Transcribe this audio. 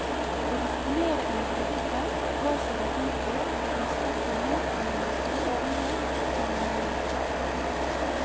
Å disponere en bryggeplass var så verdifullt at husfaste menn kunne gjøre store penger på å leie ut.